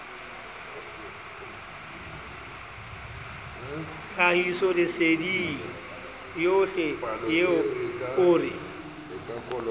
tlhahisoleseding yohle eo o re